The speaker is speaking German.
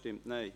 / Abstentions